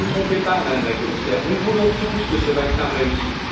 Ne vous trompez pas, Madame la Commissaire, nous voulons tous que ce vaccin réussisse.